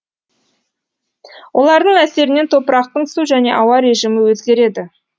олардың әсерінен топырақтың су және ауа режимі өзгереді